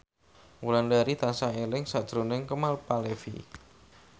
Wulandari tansah eling sakjroning Kemal Palevi